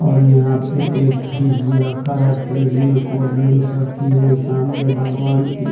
और यहां पे एक फ्रिज भी रखा है फ्रिज में कोल्ड ड्रिंक्स रखी है सामने भगवान की--